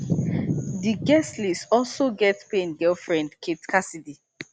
di guestlist also get payne girlfriend kate cassidy